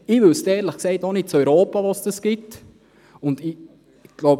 Ich weiss auch nicht, ob es das in Europa gibt.